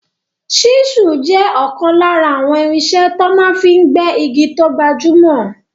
Ṣísùl jẹ́ ọ̀kan lára àwọn irinṣẹ́ tó máa fi n gbẹ́ igi tó gbajúmọ̀